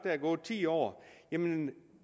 er gået ti år jamen